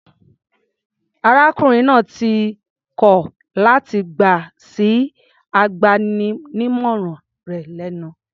Arákùnrin náà ti kọl láti gbà sí agbaninímọ̀ràn rẹ̀ lẹ́nu.